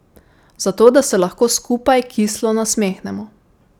Zato, da se lahko skupaj kislo nasmehnemo.